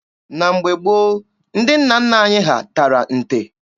Na mgbe gboo, ndị nna nna anyị ha tara nte.